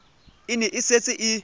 e ne e setse e